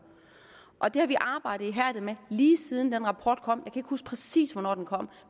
og det har vi arbejdet ihærdigt med lige siden den rapport kom jeg huske præcis hvornår den kom